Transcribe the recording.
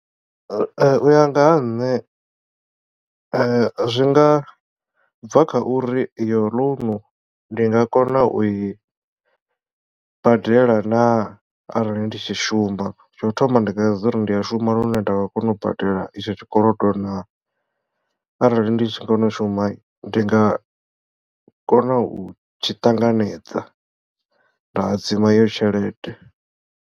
Ee u ya nga ha nṋe zwi nga bva kha uri iyo loan ndi nga kona u i badela naa arali ndi tshi shuma tsho thoma ndi sedza uri ndi a shuma lune nda nga kona u badela itsho tshikolodo naa arali ndi tshi kona u shuma ndi nga kona u tshi ṱanganedza nda hadzima iyo tshelede.